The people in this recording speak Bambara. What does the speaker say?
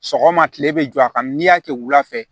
Sɔgɔma kile bɛ jɔ a kan n'i y'a kɛ wula fɛ